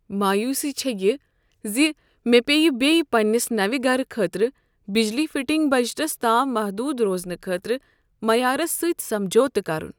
مایوسی چھے یہ زِ مےٚ پیٚیہِ بے پننس نٔوِ گرٕ خٲطرٕ بجلی فٹنگ بجٹس تام محدود روزنہٕ خٲطرٕ معیارس سٕتۍ سمجوتہٕ کرُن۔